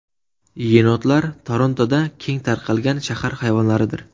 Yenotlar Torontoda keng tarqalgan shahar hayvonlaridir.